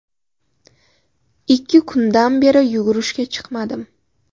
Ikki kundan beri yugurishga chiqmadim.